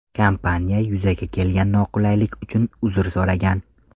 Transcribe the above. Kompaniya yuzaga kelgan noqulaylik uchun uzr so‘ragan.